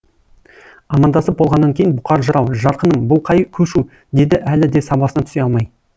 амандасып болғаннан кейін бұқар жырау жарқыным бұл қай көшу деді әлі де сабасына түсе алмай